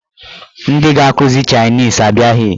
Ndị ga-akụzi chaịnis abịaghị.